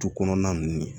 Tu kɔnɔna ninnu